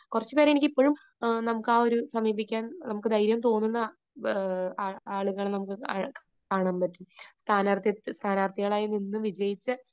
കുറച്ചുപേരെ എനിക്കിപ്പോഴും, നമുക്ക് ആ ഒരു, സമീപിക്കാൻ നമുക്ക് ധൈര്യം തോന്നുന്ന ആളുകളെ നമുക്ക് കാണാൻ പറ്റും. സ്ഥാനാർഥികളായി നിന്ന് വിജയിച്ച